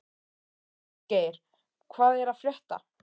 Végeir, hvað er að frétta?